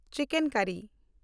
chicken ᱠᱟᱨᱤ